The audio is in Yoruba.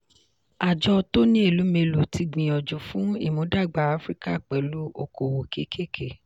àjọ tony elumelu ti gbìyànjú fún ìmúdàgba africa pẹ̀lú okòwò kékèké.